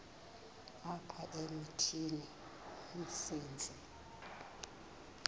apha emithini umsintsi